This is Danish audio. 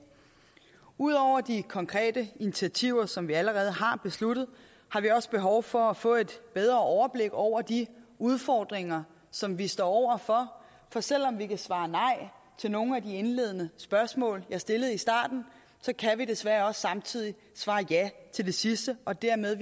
ud over de konkrete initiativer som vi allerede har besluttet har vi også behov for at få et bedre overblik over de udfordringer som vi står over for for selv om vi kan svare nej til nogle af de indledende spørgsmål jeg stillede i starten så kan vi desværre også samtidig svare ja til det sidste og dermed